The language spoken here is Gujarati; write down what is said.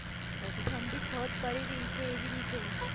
ઓકે. ઠંડી બહુત પડી રહી છે એવી રીતે